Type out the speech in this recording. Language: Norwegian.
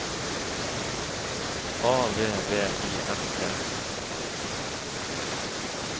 A V V I S E